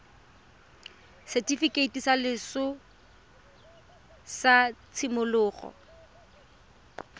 setifikeiti sa loso sa tshimologo